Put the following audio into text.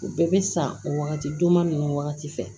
U bɛɛ bɛ san o wagati duguma ninnu wagati fɛ